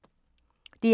DR2